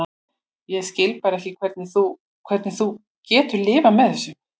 Ég skil bara ekki hvernig þú. hvernig þú hefur getað lifað með þessu.